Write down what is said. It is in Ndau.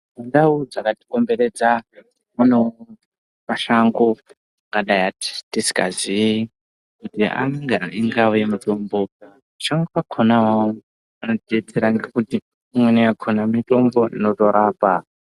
Mundau dzakati komberedza munewo mashango akadai tisikazi kuti ingave mutombo mazhinji akona anoti detsera nekuti imweni yakona mitombo inoto rapa.